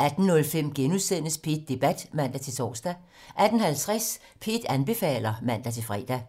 18:05: P1 Debat *(man-tor) 18:50: P1 anbefaler (man-fre)